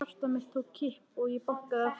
Hjarta mitt tók kipp og ég bankaði aftur.